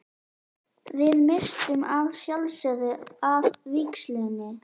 Við misstum að sjálfsögðu af vígslunni.